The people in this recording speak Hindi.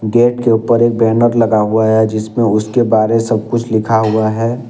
गेट के ऊपर एक बैनर लगा हुआ है जिसमें उसके बारे सब कुछ लिखा हुआ है।